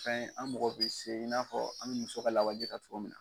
Fɛn an mago be se i n'a fɔ an ye muso ka lawaji ta cogo min na.